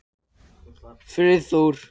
Friðþór